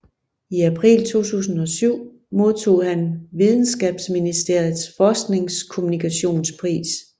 I april 2007 modtog han videnskabsministeriets Forskningskommunikationspris